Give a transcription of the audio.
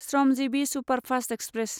Shramjeevi superfast express